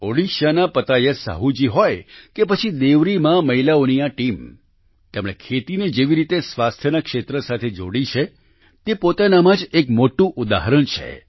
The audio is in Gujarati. ઓડિશાના પતાયત સાહૂ જી હોય કે પછી દેવરીમાં મહિલાઓની આ ટીમ તેમણે ખેતીને જેવી રીતે સ્વાસ્થ્યના ક્ષેત્ર સાથે જોડી છે તે પોતાનામાં જ એક મોટું ઉદાહરણ છે